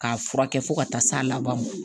K'a furakɛ fo ka taa s'a laban ma